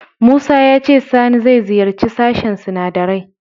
Musa ya ce Sani zai ziyarci sashen sinadarai.